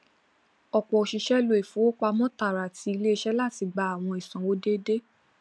ọpọ òṣìṣẹ lo ìfowópamọ tààrà ti iléiṣẹ láti gba àwọn ìsanwó déédéé